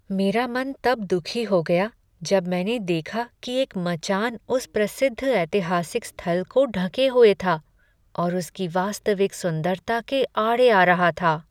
मेरा मन तब दुखी हो गया जब मैंने देखा कि एक मचान उस प्रसिद्ध ऐतिहासिक स्थल को ढंके हुए था और उसकी वास्तविक सुंदरता के आड़े आ रहा था।